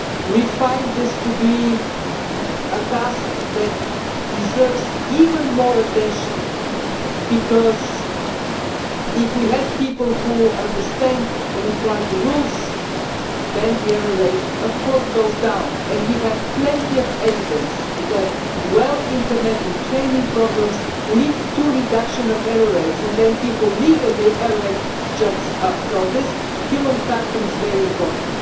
We find this to be a task that deserves even more attention, because if we have people who understand and apply the rules, then the error rate goes down and we have plenty of evidence that well implemented training programmes lead to a reduction of error rates then people leave and the error rate jumps up, so this human factor is very important.